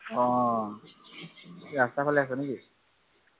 অ ৰাস্তাৰ ফালে আছ নে কি!